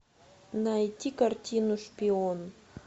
найти картину шпион